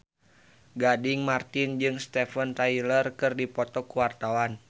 Gading Marten jeung Steven Tyler keur dipoto ku wartawan